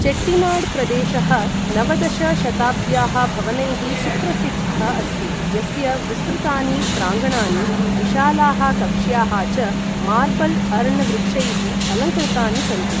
चेट्टिनाड् प्रदेशः नवदश शताब्द्याः भवनैः सुप्रसिद्धः अस्ति, यस्य विस्तृतानि प्राङ्गणानि, विशालाः कक्ष्याः च मार्बल् अर्ण वृक्षैः अलङ्कृता्नि सन्ति।